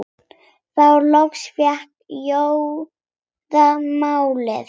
Þá loks fékk Jóra málið.